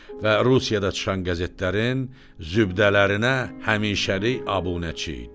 Və Rusiyada çıxan qəzetlərin zübdələrinə həmişəlik abunəçi idi.